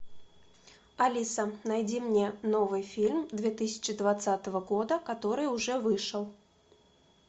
алиса найди мне новый фильм две тысячи двадцатого года который уже вышел